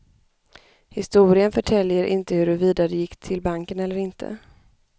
Historien förtäljer inte hurvida de gick till banken eller inte.